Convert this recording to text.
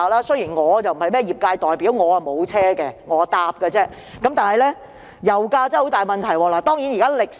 雖然我不是業界代表，也沒有私家車，但我也深感油價問題嚴重。